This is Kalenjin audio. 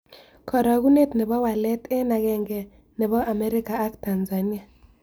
Karagunet ne po walet eng' agenge ne po amerika ak tanzania